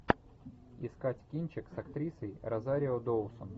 искать кинчик с актрисой розарио доусон